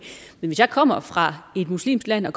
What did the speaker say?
men hvis jeg kommer fra et muslimsk land